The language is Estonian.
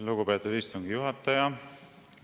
Lugupeetud istungi juhataja!